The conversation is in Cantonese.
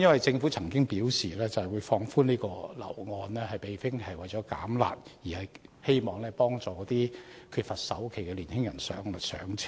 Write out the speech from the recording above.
政府曾表示上調按揭成數，並非為了"減辣"，而是希望幫助缺乏首期的年輕人"上車"。